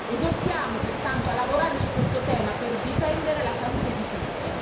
Esortiamo pertanto a lavorare su questo tema per difendere la salute di tutte.